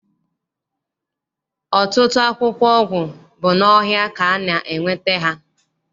Ọtụtụ akwụkwọ ọgwụ bụ n'ọhịa ka a na- enweta ha.